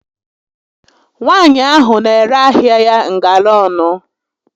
Nwaànyị ahụ n'ere ahịa ya ngara ọnụ